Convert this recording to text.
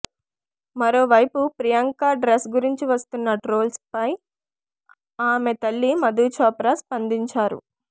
మరోవైపు ప్రియాంక డ్రెస్ గురించి వస్తున్న ట్రోల్స్పై ఆమె తల్లి మధు చోప్రా స్పందించారు